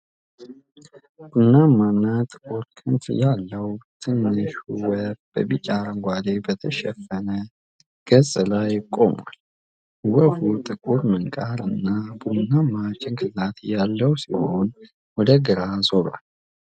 ቡናማና ጥቁር ክንፍ ያለው ትንሹ ወፍ በቢጫ አረንጓዴ በተሸፈነ ገጽ ላይ ቆሟል። ወፉ ጥቁር ምንቃር እና ቡናማ ጭንቅላት ያለው ሲሆን ወደ ግራ ዞሯል።